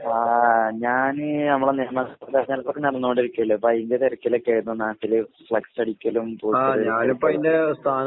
ആഹ് ഞാന് നമ്മളെ തെരഞ്ഞെടുപ്പൊക്കെ നടന്നോണ്ടിരിക്കല്ലേ? അപ്പയിന്റെ തെരക്കിലൊക്കേന്നു നാട്ടില് ഫ്ലെക്‌സടിക്കലും